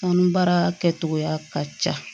Kɔnɔbara kɛcogoya ka ca